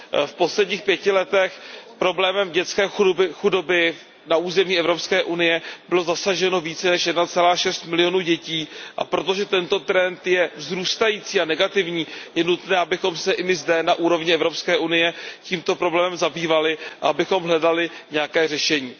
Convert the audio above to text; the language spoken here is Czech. V posledních pěti letech problémem dětské chudoby na území Evropské unie bylo zasaženo více než 1,6 milionu dětí a protože tento trend je vzrůstající a negativní, je nutné, abychom se i my zde na úrovni Evropské unie tímto problémem zabývali a abychom hledali nějaké řešení.